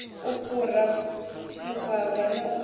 u fhura vhuvhava na u